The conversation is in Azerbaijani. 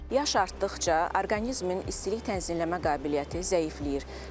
Yaş artdıqca orqanizmin istilik tənzimləmə qabiliyyəti zəifləyir.